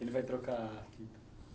Ele vai trocar a fita.